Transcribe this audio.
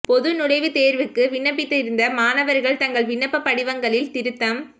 பொது நுழைவுத் தேர்வுக்கு விண்ணப்பித்திருந்த மாணவர்கள் தங்கள் விண்ணப்பப் படிவங்களில் திருத்தம்